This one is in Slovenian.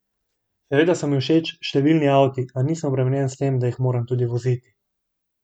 Seveda so mi všeč številni avti, a nisem obremenjen s tem, da jih moram tudi voziti.